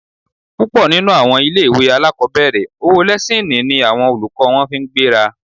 Púpọ̀ nínú àwọn ilé-ìwé alákọ̀ọ́bẹ̀rẹ̀, owó lẹ́síìnì ni àwọn olùkọ́ wọn fi ń gbéra